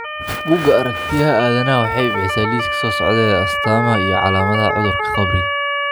Buugga Aragtiyaha Aadanaha waxay bixisaa liiska soo socda ee astamaha iyo calaamadaha cudurka qabriga.